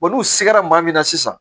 n'u sera maa min na sisan